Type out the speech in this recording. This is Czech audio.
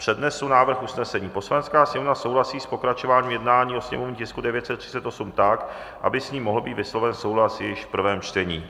Přednesu návrh usnesení: "Poslanecká sněmovna souhlasí s pokračováním jednání o sněmovním tisku 938 tak, aby s ním mohl být vysloven souhlas již v prvém čtení."